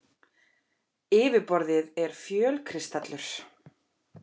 Yfirborðið er fjölkristallur.